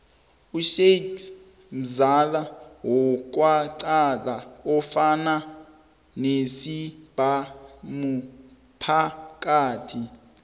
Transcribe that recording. ushixi mzialo wekaxadi ofaka nesibhamuphakathi